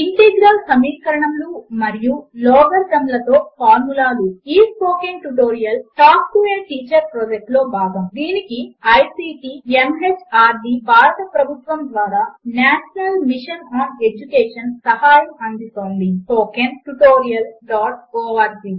integral సమీకరణములు మరియు logarithm లతో ఫార్ములాలు ఈ spoken tutorial talk to a teacher project లో భాగము దీనికి ఐసీటీ ఎంహార్డీ భారత ప్రభుత్వము ద్వారా నేషనల్ మిషన్ ఆన్ ఎడ్యుకేషన్ సహాయం అందిస్తోంది httpspoken tutorialorg